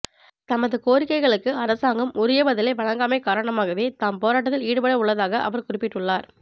தமது கோரிக்கைகளுக்கு அரசாங்கம் உரிய பதிலை வழங்காமை காரணமாகவே தாம்போராட்டத்தில் ஈடுபடவுள்ளதாக அவர் குறிப்பிட்டுள்ளார்